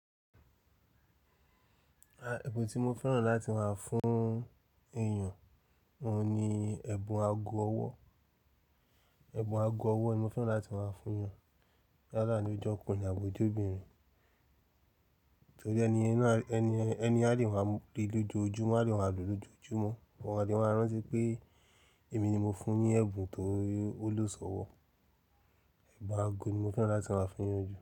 À, ẹ̀bùn tí mo fẹ́ràn láti máa fún èèyàn, òun ni ẹ̀bùn ago ọwọ́. Ẹ̀bùn ago ọwọ́ ni mo fẹ́ràn láti máa fún èèyàn. Yálà ní o je ọkùnrin àbí o je obìnrin, torí ẹni yen náà, ẹni, ẹni a lè máa mu kirí lójoojúmọ́, a lè máa lò lójoojúmọ́, wọ́n a lè máa rántí pé èmi ni mo fún un ní ẹ̀bùn tó wuló sọ̀wọ́. Ago ni mo fẹ́ràn láti máa fún eyan ju.